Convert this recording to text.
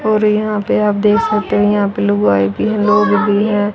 और यहां पे आप देख सकते हो यहां पे लुगाई भी है लोग भी हैं।